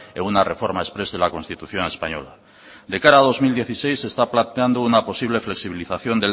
en una reforma exprés de la constitución española de cara a dos mil dieciséis se está planteando una flexibilización